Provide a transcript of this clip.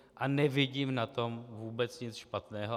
A nevidím na tom vůbec nic špatného.